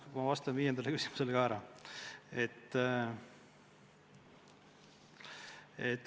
No ma vastan viiendale küsimusele ka ära.